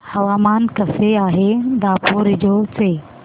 हवामान कसे आहे दापोरिजो चे